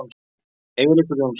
Eiríkur Jónsson.